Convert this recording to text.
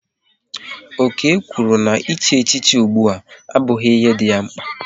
Okey kwụrụ na ị chi echichi ụgbụa abughi ihe dị ya mkpa